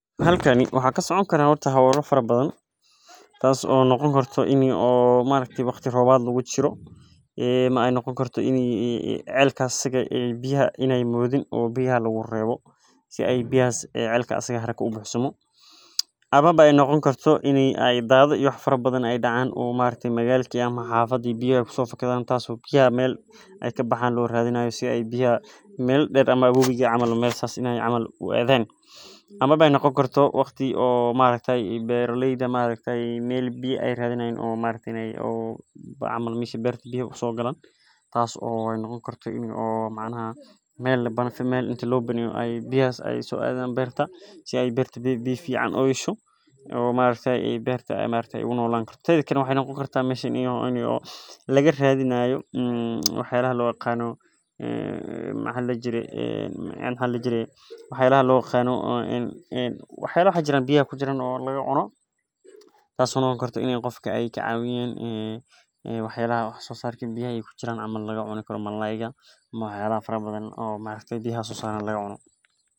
Halkani waxa kasoconi karaa hola fara bafam tas oo noqoni karto ini waqti tobaad lagu jiro ama celkas biyaha ee modhin amawa ee noqonin waxyala fara badam ee dacan fada biya ee kuso fakadan meela der wowiga camal meel sas u aadan ama wati bera leyda ee u radhiyan biya tas oo noqoni karto waxyalaha biyaha sosaran laga cuno sas ayan arki haya makasayi walalow ben man isku shegeyna.